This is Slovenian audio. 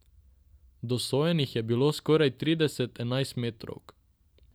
Dosojenih je bilo skoraj trideset enajstmetrovk.